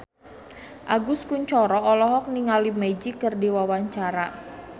Agus Kuncoro olohok ningali Magic keur diwawancara